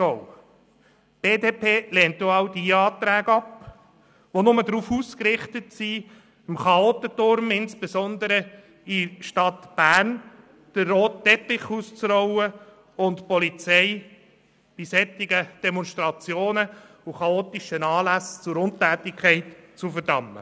Die BDP-Fraktion lehnt alle Anträge ab, die nur darauf ausgerichtet sind, dem Chaotentum insbesondere in der Stadt Bern den roten Teppich auszurollen und die Polizei bei solchen Demonstrationen und chaotischen Anlässen zur Untätigkeit zu verdammen.